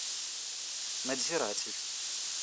надзиратель